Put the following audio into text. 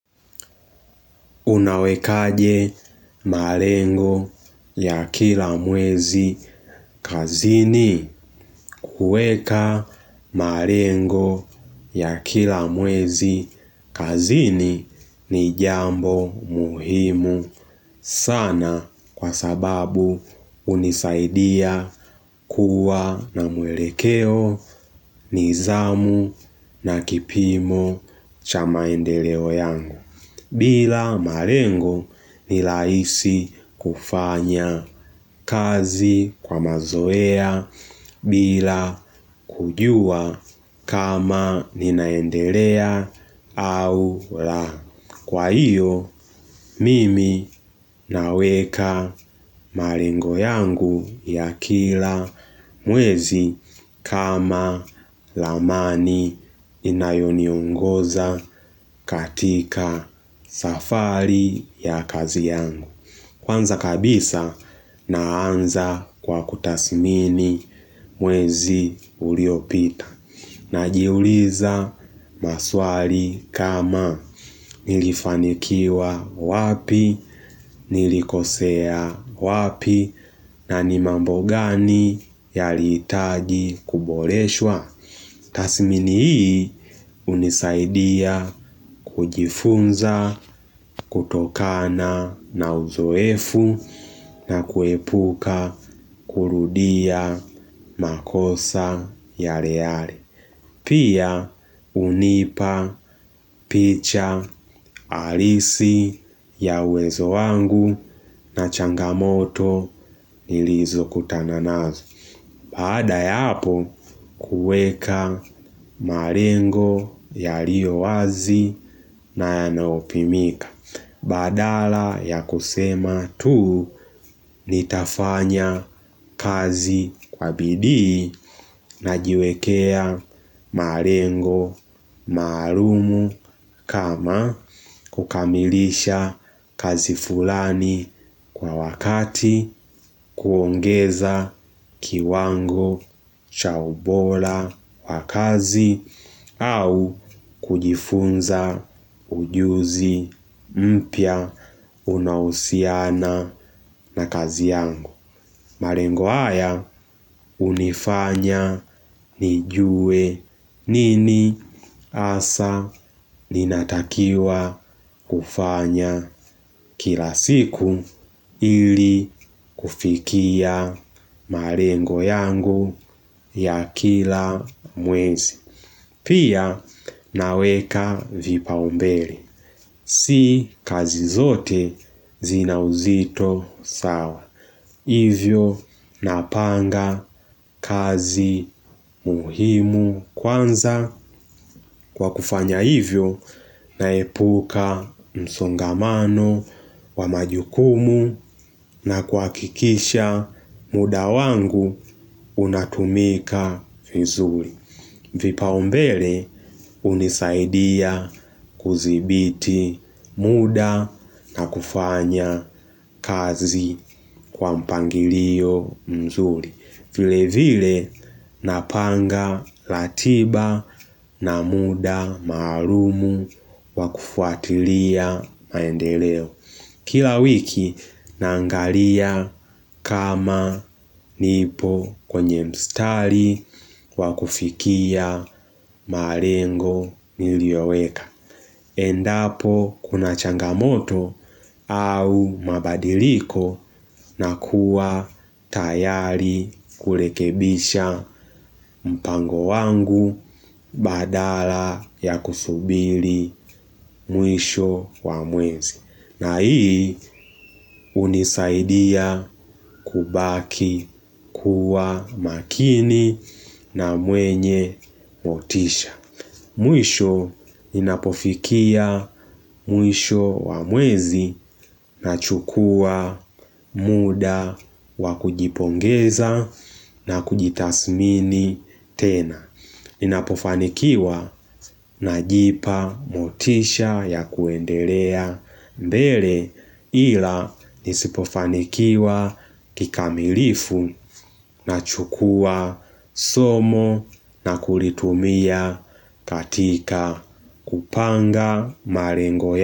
Unawekaje marengo ya kila mwezi kazini kueka marengo ya kila mwezi kazini ni jambo muhimu. Sana kwa sababu unisaidia kuwa na mwelekeo nidhamu na kipimo chamaendeleo yangu. Bila malengo ni lahisi kufanya kazi kwa mazoea bila kujua kama ninaendelea au la mimi naweka marengo yangu ya kila mwezi. Kama lamani inayoni ongoza katika safari ya kazi yangu. Kwanza kabisa naanza kwa kutasimini mwezi uliopita najiuliza maswali kama nilifanikiwa wapi nilikosea wapi. Na ni mambo gani yalitaji kuboreshwa. Tasimini hii unisaidia kujifunza kutokana na uzoefu. Na kuepuka kurudia makosa yale yale pia unipa picha halisi ya uwezo wangu na changamoto nilizokutana nazo. Bada yapo kueka marengo yario wazi na yanaopimika. Badala ya kusema tu ni tafanya kazi kwa bidii na jiwekea marengo marumu kama kukamilisha kazi fulani kwa wakati kuongeza kiwango cha ubora. Kwa kazi au kujifunza ujuzi mpya unausiana na kazi yangu. Marengo haya unifanya nijue nini asa ninatakiwa kufanya kila siku ili kufikia marengo yangu ya kila mwezi. Pia naweka vipa umbele. Si kazi zote zina uzito sawa. Hivyo napanga kazi muhimu kwanza kwa kufanya hivyo naepuka msongamano wa majukumu na kwa kikisha muda wangu unatumika vizuri. Vipa umbele unisaidia kuzibiti muda na kufanya kazi kwa mpangilio mzuri. Vile vile napanga latiba na muda marumu wakufuatilia maendeleo. Kila wiki nangalia kama nipo kwenye mstari wakufikia marengo niliyoweka. Endapo kuna changamoto au mabadiliko na kuwa tayari kulekebisha mpango wangu badala ya kusubili mwisho wa mwezi. Na hii unisaidia kubaki kuwa makini na mwenye motisha. Mwisho inapofikia mwisho wa mwezi na chukua muda wa kujipongeza na kujitasmini tena. Ninapofanikiwa na jipa motisha ya kuendelea mbele ila nisipofanikiwa kikamilifu na chukua somo na kulitumia katika kupanga marengo ya.